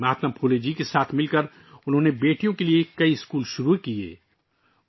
مہاتما پھولے جی کے ساتھ مل کر انہوں نے بیٹیوں کے لیے کئی اسکول شروع کیے تھے